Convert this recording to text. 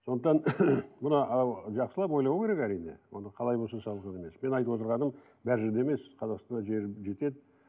сондықтан мына ы жақсылап ойлау керек әрине оны қалай болса солай салу емес менің айтып отырғаным бәрі жерде емес қазақстанда жер жетеді